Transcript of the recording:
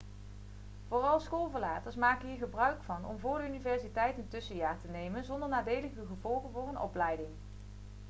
vooral schoolverlaters maken hier gebruik van om vóór de universiteit een tussenjaar te nemen zonder nadelige gevolgen voor hun opleiding